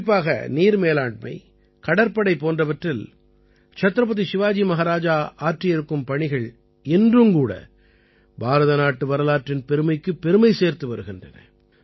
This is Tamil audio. குறிப்பாக நீர் மேலாண்மை கடற்படை போன்றவற்றில் சத்ரபதி சிவாஜி மஹாராஜா ஆற்றியிருக்கும் பணிகள் இன்றும் கூட பாரத நாட்டு வரலாற்றின் பெருமைக்குப் பெருமை சேர்த்து வருகின்றன